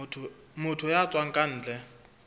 motho ya tswang ka ntle